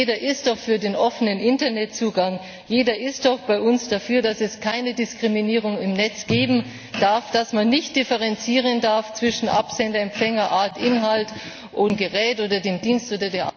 Jeder ist doch für den offenen Internet Zugang, jeder ist doch bei uns dafür, dass es keine Diskriminierung im Netz geben darf, dass man nicht differenzieren darf zwischen Absender, Empfänger, Art, Inhalt, dem Gerät, dem Dienst oder